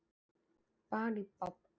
Hann tók stórfurðulegar ákvarðanir í leiknum